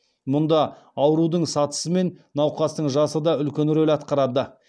мұнда аурудың сатысы мен науқастың жасы да үлкен рөл атқарады